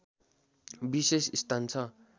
विशेष स्थान छ